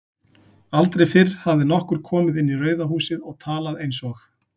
Aldrei fyrr hafði nokkur komið inn í Rauða húsið og talað einsog